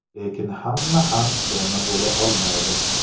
Lekin hamma ham donor bo‘la olmaydi.